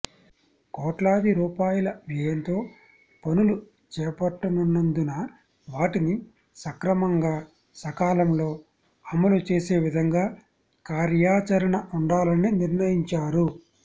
కోట్లాది రూపాయల వ్యయంతో పనులు చేప ట్టనున్నందున వాటిని సక్రమంగా సకాలంలో అమలు చేసే విధంగా కార్యాచరణ ఉండాలని నిర్ణయించారు